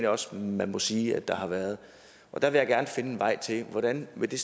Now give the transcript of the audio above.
også man må sige at der har været og der vil jeg gerne finde en vej hvordan er det